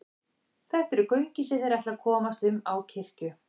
Þetta eru göngin sem þeir ætla að komast um á kirkju.